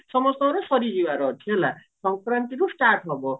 ସମସ୍ତଙ୍କର ସରିଯିବାର ଅଛି ହେଲା ସଙ୍କରାନ୍ତିରୁ start ହବ ହେଲା